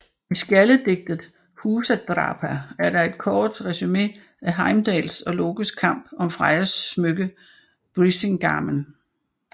I skjaldedigtet Húsdrápa er der et kort resumé af Heimdalls og Lokes kamp om Frejas smykke Brísingamen